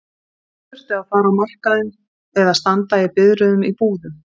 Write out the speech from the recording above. Svo þurfti að fara á markaðinn eða standa í biðröðum í búðum.